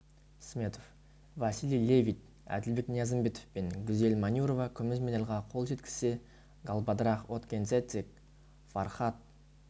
сметов василий левит әділбек ниязымбетов пен гүзел манюрова күміс медальға қол жеткізсе галбадрах отгонцэцэг фархад